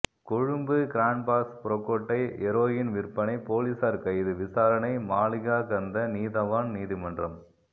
கொழும்பு கிராண்ட்பாஸ் புறக்கோட்டை ஹெரோயின் விற்பனை பொலிஸார் கைது விசாரணை மாளிகாகந்த நீதவான் நீதிமன்றம்